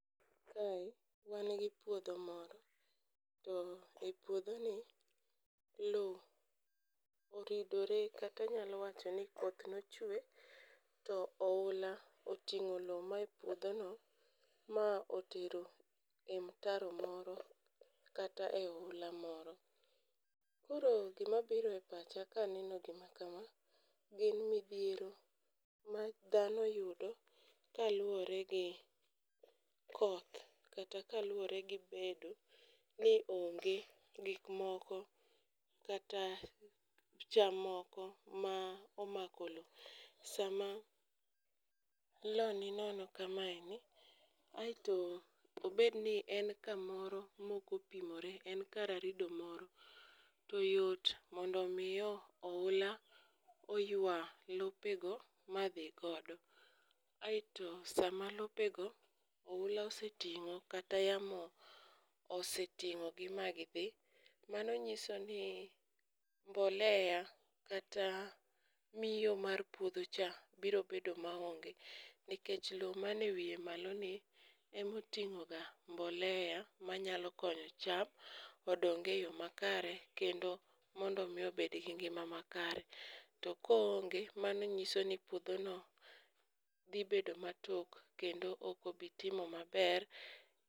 Kae wan gi puodho moro to e puodho ni loo oridore kati nyalo wacho ni koth nochwe to oula oting'o loo mae puodho no ma otero e mtaro moro kata e oula moro. Koro gima biro e pacha kaneno gima kama gin midhiero ma dhano yudo kaluwore gi koth kata kaluwore gi bedo ni onge gik moko kata cham moko ma omako loo. Sama loo ni nono kama eni aeto obed ni en kamoro mokopimore en kar arido moro, to yot mondo mi o oula oywa lope go madhi godo. Aeto sama lopego oula oseting'o kata yamo oseting'o gi ma gidhi, mano nyiso ni mbolea kata miyo mar puodho cha biro bedo ma onge nikech loo man ewiye malo ni emoting'o ga mbolea manyalo konyo cham odong e yoo makare kendo mondo mi obed gi ngima makare .To koonge mano nyiso ni puodho no biro bedo kendo ok obi timo maber.